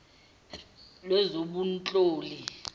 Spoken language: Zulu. lwezobunhloli